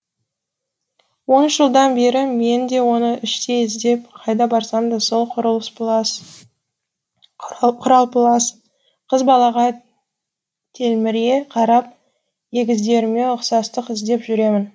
он үш жылдан бері мен де оны іштей іздеп қайда барсам да сол құралпылас қыз балаға телміре қарап егіздеріме ұқсастық іздеп жүремін